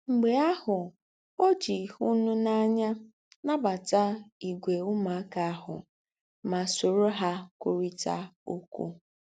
M̀gbè àhụ̀, ó jì hị̀núnànyà nábàtà ígwè úmùákà àhụ̀ mà sóró hà kwùrị̀tà ókwú.